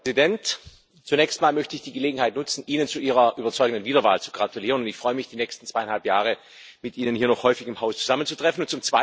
Herr Präsident! Zunächst mal möchte ich die Gelegenheit nutzen, Ihnen zu Ihrer überzeugenden Wiederwahl zu gratulieren. Ich freue mich, die nächsten zweieinhalb Jahre mit Ihnen hier im Haus noch häufig zusammenzutreffen.